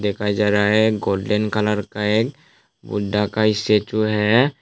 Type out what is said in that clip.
दिखाया जा रहा है गोल्डन कलर का है बुद्धा का स्टेच्यू है।